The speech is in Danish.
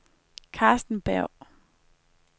Karsten Berg